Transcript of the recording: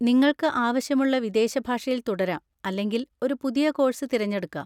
നിങ്ങൾക്ക് ആവശ്യമുള്ള വിദേശ ഭാഷയിൽ തുടരാം അല്ലെങ്കിൽ ഒരു പുതിയ കോഴ്സ് തിരഞ്ഞെടുക്കാം.